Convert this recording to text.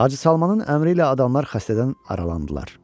Hacı Salmanın əmri ilə adamlar xəstədən aralandılar.